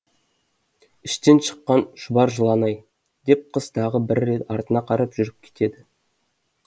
іштен шыққан шұбар жылан ай деп қыз тағы бір рет артына қарап жүріп кетеді